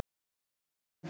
STRÍÐ FYRIR STRÖNDUM